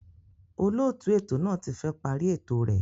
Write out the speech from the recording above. Olóòtú ètò náà ti fẹ́ parí ètò rẹ̀